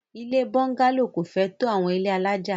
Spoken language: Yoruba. Ilé búngálò kò fẹ́ tó àwọn ilé alájà.